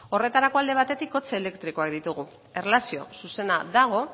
horretarako alde batetik kotxe elektrikoak ditugu erlazio zuzena dago